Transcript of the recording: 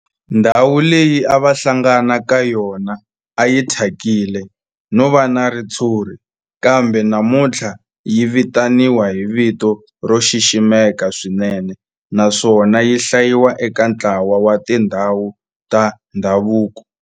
Ndhawu leyi a va hlangana ka yona a yi thyakile no va na ritshuri kambe namuntlha yi vitaniwa hi vito ro xiximeka swinene naswona yi hlayiwa eka ntlawa wa tindhawu ta ndhavuko.